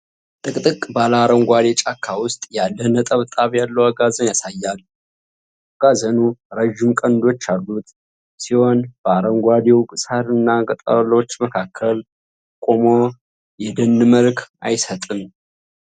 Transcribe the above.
ጥቅጥቅ ባለ አረንጓዴ ጫካ ውስጥ ያለ ነጠብጣብ ያለው አጋዘንን ያሳያል፤ አጋዘኑ ረዥም ቀንዶች ያሉት ሲሆን በአረንጓዴው ሳር እና ቅጠሎች መካከል ቆሞ የደን መልክ አይሰጥም?